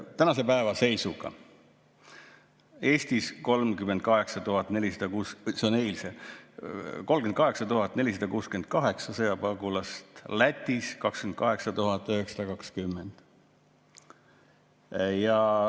Tänase päeva seisuga on Eestis, või eilse seisuga, 38 468 sõjapagulast, Lätis on 28 920.